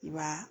I b'a